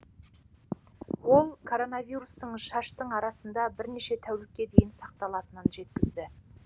ол коронавирустың шаштың арасында бірнеше тәулікке дейін сақталатынын жеткізді